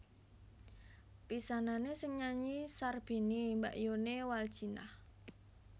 Pisanané sing nyanyi Sarbini mbakyuné Waldjinah